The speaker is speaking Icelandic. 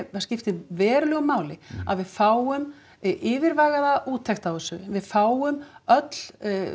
það skiptir verulegu máli að við fáum yfirvegaða úttekt á þessu við fáum öll